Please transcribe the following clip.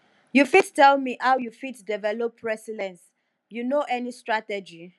you fit tell me how you fit develop resilience you know any strategy